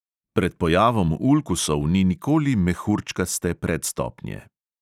Pred pojavom ulkusov ni nikoli mehurčkaste predstopnje.